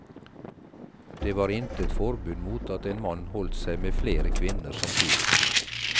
Det var intet forbud mot at en mann holdt seg med flere kvinner samtidig.